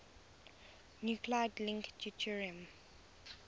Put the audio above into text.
nuclide link deuterium